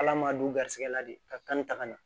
Ala ma don garisigɛ la de ka kan ni taga na